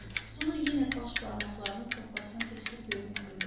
Sonra yenə baş barmaqlarını toqqasına keçirib gözünü qıydı.